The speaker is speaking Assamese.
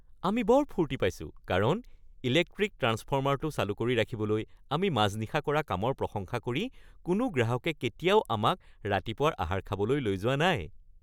আমি বৰ ফূৰ্তি পাইছো কাৰণ ইলেক্ট্ৰিক ট্ৰান্সফৰ্মাৰটো চালু কৰি ৰাখিবলৈ আমি মাজনিশা কৰা কামৰ প্ৰশংসা কৰি কোনো গ্ৰাহকে কেতিয়াও আমাক ৰাতিপুৱাৰ আহাৰ খাবলৈ লৈ যোৱা নাই। (ই.বি. কৰ্মচাৰী)